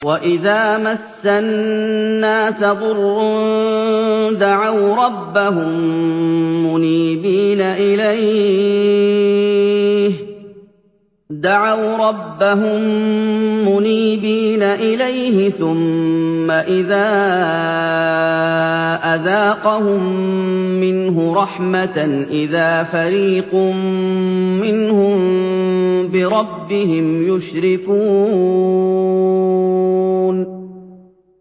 وَإِذَا مَسَّ النَّاسَ ضُرٌّ دَعَوْا رَبَّهُم مُّنِيبِينَ إِلَيْهِ ثُمَّ إِذَا أَذَاقَهُم مِّنْهُ رَحْمَةً إِذَا فَرِيقٌ مِّنْهُم بِرَبِّهِمْ يُشْرِكُونَ